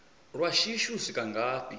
lwa shishi u swika ngafhi